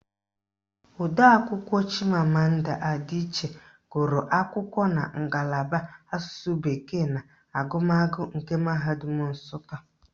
Odeakwụkwọ Chimamanda Adichie gụrụ akwụkwọ na ngalaba Asụsụ bekee na agụmagụ nke Mahadum Nsụka